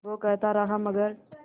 वो कहता रहा मगर